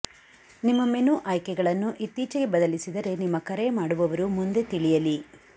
ನಿಮ್ಮ ಮೆನು ಆಯ್ಕೆಗಳನ್ನು ಇತ್ತೀಚೆಗೆ ಬದಲಿಸಿದರೆ ನಿಮ್ಮ ಕರೆ ಮಾಡುವವರು ಮುಂದೆ ತಿಳಿಯಲಿ